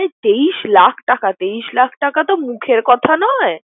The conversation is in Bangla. তেইশ লাখ টাকা, তেইশ টাকা তো মুখের কথা নয়।